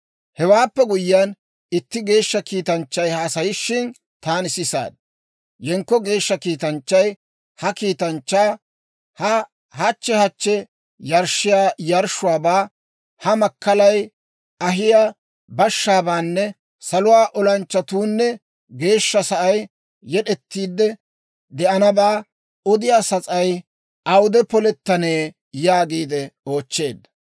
Hewaappe guyyiyaan, itti geeshsha kiitanchchay haasayishin taani sisaad. Yenkko geeshsha kiitanchchay ha kiitanchchaa, «Ha hachchi hachchi yarshshiyaa yarshshuwaabaa, Ha makkalay ahiyaa bashshaabaanne saluwaa olanchchatuunne geeshsha sa'ay yed'ettiidde de'anabbaa odiyaa sas'ay awude polettanee?» yaagiide oochcheedda.